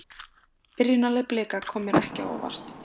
Byrjunarlið Blika kom mér ekki á óvart.